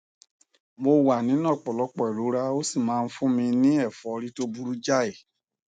mo wà nínú ọpọlọpọ ìrora ó sì máa ń fún mi ní ẹfọrí tó burú jáì